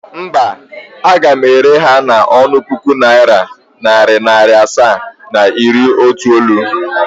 Mba, aga m ere ha n' onu puku naira, nari naira asaa, na iri itoolu.